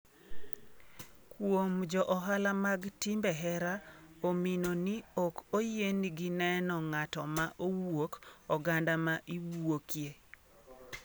Kuom jo ohala mag timbe hera omino ni ok oyien gi neno ng'ato ma wuok oganda ma iwuokye